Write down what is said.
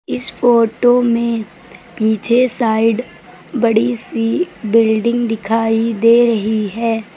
इस फोटो में पीछे साइड बड़ी सी बिल्डिंग दिखाई दे रही है।